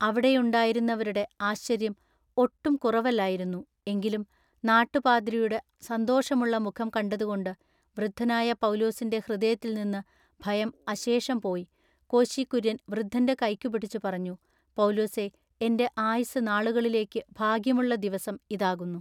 അവിടെയുണ്ടായിരുന്നവരുടെ ആശ്ചര്യം ഒട്ടും കുറവല്ലായിരുന്നു. എങ്കിലും നാട്ടുപാദ്രിയുടെ സന്തോഷമുള്ള മുഖം കണ്ടതുകൊണ്ട് വൃദ്ധനായ പൗലുസിന്റെ ഹൃദയത്തിൽനിന്നു ഭയം അശേഷം പോയി കോശി കുര്യന്‍ വൃദ്ധന്റെ കൈയ്ക്കുപിടിച്ചുപറഞ്ഞു പൗലുസെ എന്റെ ആയുസ്സു നാളുകളിലേക്കു ഭാഗ്യമുള്ള ദിവസം ഇതാകുന്നു.